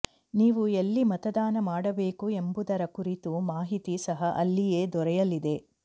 ನೀವು ಎಲ್ಲಿ ಮತದಾನ ಮಾಡಬೇಕು ಎಂಬುದರ ಕುರಿತು ಮಾಹಿತಿ ಸಹ ಅಲ್ಲಿಯೇ ದೊರೆಯಲಿದೆ